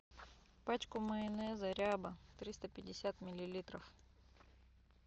пачку майонеза ряба триста пятьдесят миллилитров